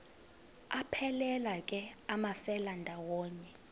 aphelela ke amafelandawonye